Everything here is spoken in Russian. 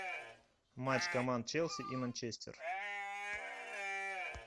матч команд челси и манчестер